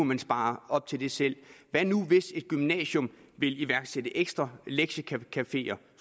man spare op til det selv hvad nu hvis et gymnasium vil iværksætte ekstra lektiecafeer